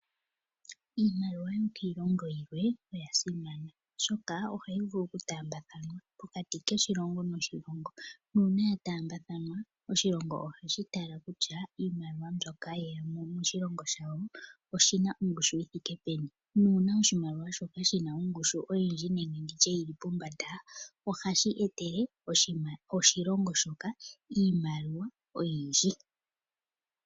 Iimaliwa yokiilongo yimwe oya simana, oshoka ohayi vulu okutaambathanwa pokati koshilongo noshilongo nuuna ya taambathanwa oshilongo ohashi tala kutya iimaliwa mbyoka shi na moshilongo shawo oshi na ongushu yi thike peni. Uuna oshimaliwa shoka shi na ongushu oyindji nege yi li pombanda ohashi etele oshilongo shoka iimaliwa oyindji.